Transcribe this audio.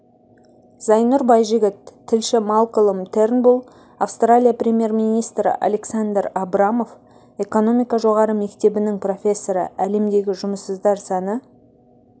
зайнұр байжігіт тілші малколм тернбулл австралия премьер-министрі александр абрамов экономика жоғары мектебінің профессоры әлемдегі жұмыссыздар саны